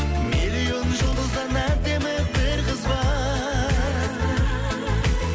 миллион жұлдыздан әдемі бір қыз бар